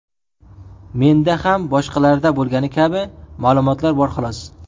Menda ham boshqalarda bo‘lgani kabi ma’lumotlar bor, xolos.